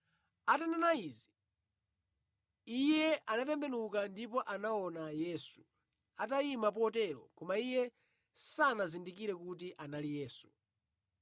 Atanena izi, iye anatembenuka ndipo anaona Yesu atayima potero koma iye sanazindikire kuti anali Yesu.